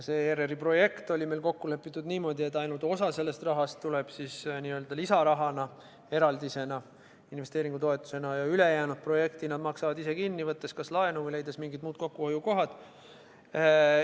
See ERR-i projekt oli meil kokku lepitud niimoodi, et ainult osa rahast tuleb n-ö lisaraha eraldisena, investeeringutoetusena, ja ülejäänud projekti maksavad nad ise kinni, võttes kas laenu või leides mingid muud kokkuhoiukohad.